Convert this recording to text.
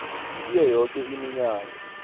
kiyo yoke iminyango